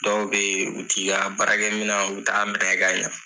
Dɔw bɛ ye u ti ka baarakɛ mina u t'a minɛ ka ɲa.